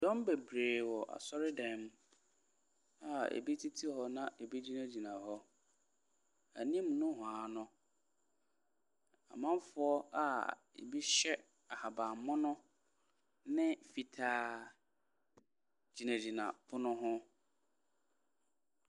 Dɔm bebree wɔ asɔredan mu a ebi tete hɔ na ebi gyinagyina hɔ. Anim nohoa no, amanfoɔ a ebi hyɛ ahaban mono ne fitaa gyinagyina pono ho.